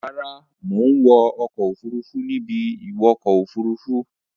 Rárá, mò ń wọ ọkọ̀-òfurufú ní ibi-ìwọkọ òfuruú.